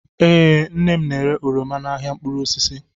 Ee, nnem n'ere oroma n'ahịa mkpụrụ osisi